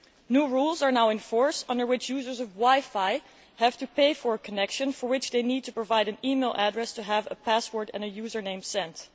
New rules are now in force, under which users of Wi Fi have to pay for a connection, for which they need to provide an e mail address to have a password and a username sent.